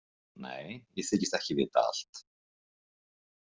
Nei, ég þykist ekki vita allt.